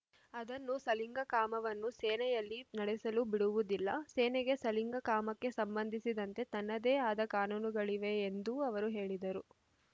ಅದನ್ನು ಸಲಿಂಗಕಾಮವನ್ನು ಸೇನೆಯಲ್ಲಿ ನಡೆಸಲು ಬಿಡುವುದಿಲ್ಲ ಸೇನೆಗೆ ಸಲಿಂಗಕಾಮಕ್ಕೆ ಸಂಬಂಧಿಸಿದಂತೆ ತನ್ನದೇ ಆದ ಕಾನೂನುಗಳಿವೆ ಎಂದೂ ಅವರು ಹೇಳಿದರು